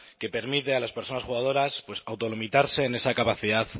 que permite a las personas jugadoras pues autolimitarse en esa capacidad